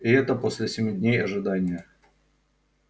и это после семи дней ожидания